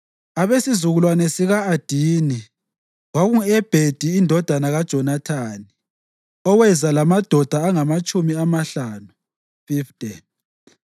abesizukulwane sika-Adini, kwakungu-Ebhedi indodana kaJonathani, oweza lamadoda angamatshumi amahlanu (50);